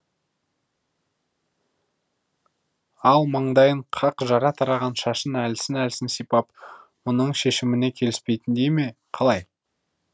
ақ маңдайын қақ жара тараған шашын әлсін әлсін сипап мұның шешіміне келіспейтіндей ме қалай